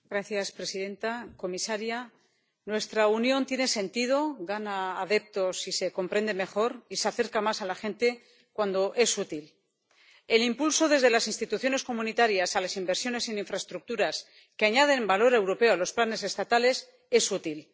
Señora presidenta, señora comisaria, nuestra Unión tiene sentido, gana adeptos y se comprende mejor, y se acerca más a la gente, cuando es útil. El impulso desde las instituciones comunitarias a las inversiones en infraestructuras, que añaden valor europeo a los planes estatales, es útil.